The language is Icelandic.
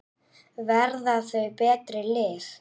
Verða þau betri lið?